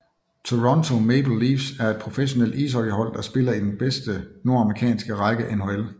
Toronto Maple Leafs er et professionelt ishockeyhold der spiller i den bedste nordamerikanske række NHL